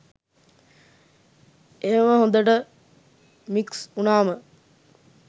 එහෙම හොඳට මික්ස් උනාම